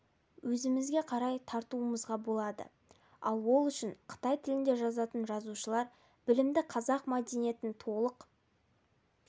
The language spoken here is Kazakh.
өзімізге қарай тартуымызға болады ал ол үшін қытай тілінде жазатын жазушылар білімді қазақ мәдениетін толық